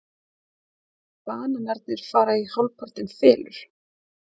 Bananarnir fara hálfpartinn í felur.